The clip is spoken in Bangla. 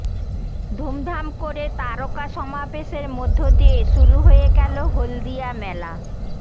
ধুমধাম করে তারকা সমাবেশের মধ্য দিয়ে শুরু হয়ে গেল হলদিয়া মেলা